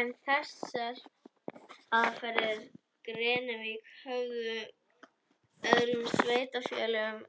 En eru þessar aðferðir Grenvíkinga öðrum sveitarfélögum